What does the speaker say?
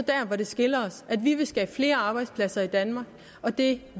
det der skiller os vi vil skabe flere arbejdspladser i danmark og det